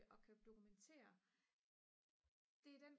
og kan dokumentere det er den